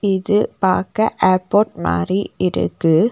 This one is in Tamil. இது பாக்க ஏர்போர்ட் மாரி இருக்கு.